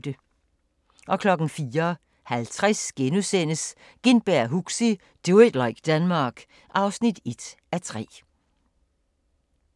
04:50: Gintberg og Huxi – Do it like Denmark (1:3)*